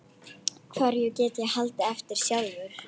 Hverju get ég haldið eftir sjálfur?